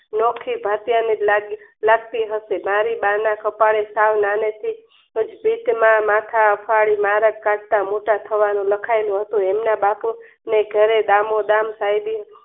ઘાટિયાની લગતી હંસાએ મારી બા ના કપાળે સાવ નાને થી જ ભીતમાં માથા અફાળી કાઢતા લખાયેલું હતું એમના બાપુ ને ઘરે દામોદમ સાયબી